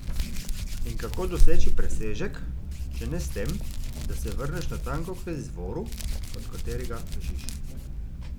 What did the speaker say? In kako doseči presežek, če ne s tem, da se vrneš natanko k izvoru, od katerega bežiš?